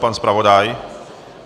Pan zpravodaj?